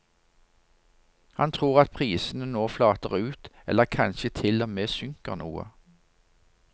Han tror at prisene nå flater ut, eller kanskje til og med synker noe.